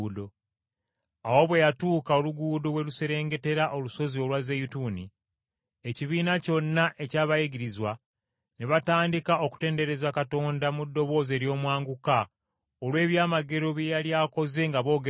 Awo bwe yatuuka oluguudo we luserengetera olusozi olwa Zeyituuni, ekibiina kyonna eky’abayigirizwa, ne batandika okutendereza Katonda, mu ddoboozi ery’omwanguka olw’ebyamagero bye yali akoze nga boogera nti,